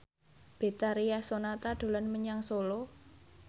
Betharia Sonata dolan menyang Solo